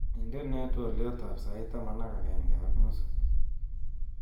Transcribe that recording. Indenee twoliotab sait taman ak agenge ak nusu